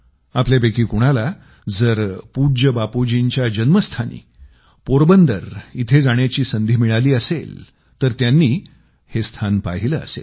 आपल्यापैकी कोणाला जर पूज्य बापूजींच्या जन्मस्थानी पोरबंदर इथं जाण्याची संधी मिळाली असेल तर त्यांनी हे स्थान पाहिलं असेल